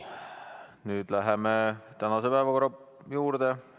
Nüüd läheme tänase päevakorra juurde.